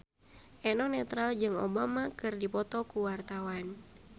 Eno Netral jeung Obama keur dipoto ku wartawan